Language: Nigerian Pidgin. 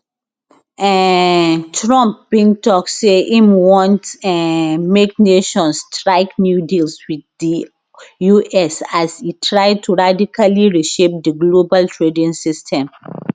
um trump bin tok say im want um make nations strike new deals wit di us as e try to radically reshape di global trading system